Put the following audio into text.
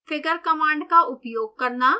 figure command का उपयोग करना